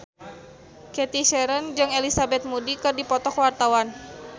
Cathy Sharon jeung Elizabeth Moody keur dipoto ku wartawan